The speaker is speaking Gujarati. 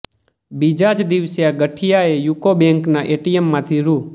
બીજા જ દિવસે ગઠિયાએ યુકો બેન્કના એટીએમમાંથી રૃ